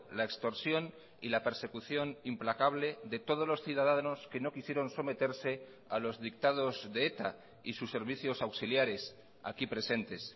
la extorsión y la persecución implacable de todos los ciudadanos que no quisieron someterse a los dictados de eta y sus servicios auxiliares aquí presentes